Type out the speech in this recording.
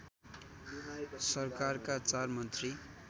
सरकारका चार मन्त्री